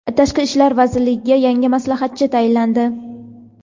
Tashqi ishlar vaziriga yangi maslahatchi tayinlandi.